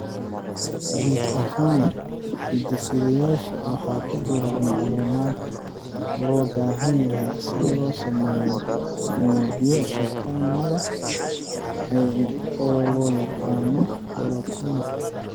Guud ahaan, hidde-sideyaasha waxaa ku jira macluumaadka loo baahan yahay si loo sameeyo unugyo shaqeynaya oo loo yaqaan borotiinno.